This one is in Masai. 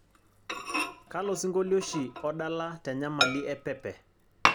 kalo singolio oshi odala tenyamali epepe